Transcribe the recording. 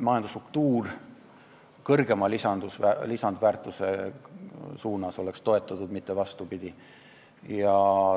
majandusstruktuuri toetataks kõrgema lisandväärtuse loomiseks, mitte vastupidi.